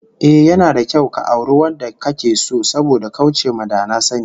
Ehh, yana da kyau ka auri wanda kake so saboda kauce ma da na sani